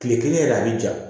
Kile kelen yɛrɛ a bi ja